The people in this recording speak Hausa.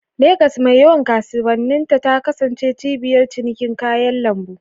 Legas, mai yawan kasuwanninta, ta kasance cibiyar cinikin kayan lambu.